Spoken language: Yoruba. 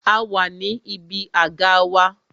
A wà ní ibi àga wa